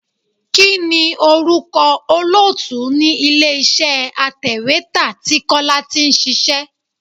Kini orúkọ olóòtú ni ilé iṣẹ́ atèwétà tí Kọ́lá tí ń ṣíṣe?